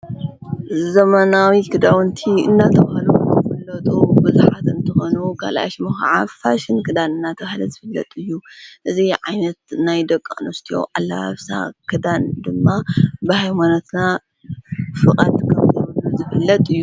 ዘመናዊ ክዳውንቲ እናተብሃሉ ዝፍለጡ ብዙኃት እንተኾኑ ኸልእሽ ም ኸዓ ፋሽን ክዳን ናተውሃደ ዝፍለጡ እዩ እዙ ዓይነት ናይ ደቃ ንስት ኣላኣፍሳ ክዳን ድማ ብሃይሞነትና ፍቐት ከምተብሉ ዘብለጥ እዩ።